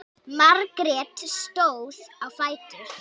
Margrét stóð á fætur.